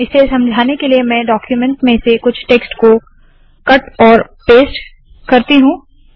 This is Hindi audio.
इसे समझाने के लिए मैं डाक्यूमेन्ट में से कुछ टेक्स्ट को कट और पेस्ट करती हूँ